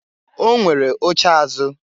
O nwere oche azụ.